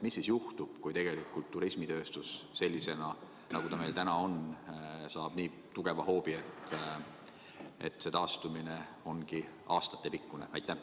Mis juhtub siis, kui turismitööstus sellisena, nagu ta meil täna on, saab nii tugeva hoobi, et selle taastumine ongi aastatepikkune?